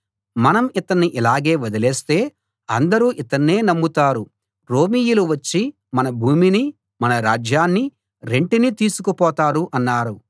మనం ఇతన్ని ఇలాగే వదిలేస్తే అందరూ ఇతన్నే నమ్ముతారు రోమీయులు వచ్చి మన భూమినీ మన రాజ్యాన్నీ రెంటినీ తీసుకుపోతారు అన్నారు